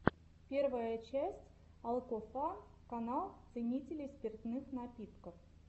первая часть алкофан канал ценителей спиртных напитков